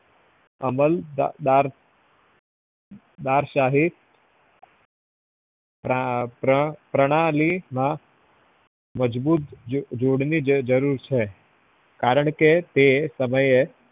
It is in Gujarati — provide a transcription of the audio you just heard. અમલદાર દારશાહી પ્ર~ પ્રણાલી ના મજબૂત જોડવી જરૂર છે કારણ કે એ તમને